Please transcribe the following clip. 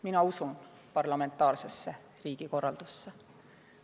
Mina usun parlamentaarsesse riigikorraldusse.